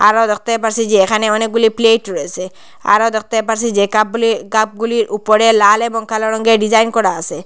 আরও দেখতে পারসি যে এখানে অনেকগুলি প্লেট রয়েসে আরও দেখতে পারসি যে কাপ -গুলি কাপ -গুলির ওপরে লাল এবং কালো রঙের ডিজাইন করা আসে।